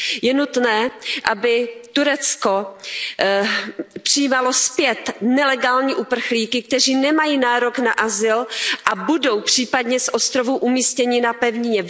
Je nutné, aby Turecko přijímalo zpět nelegální uprchlíky, kteří nemají nárok na azyl a budou případně z ostrovů umístěni na pevnině.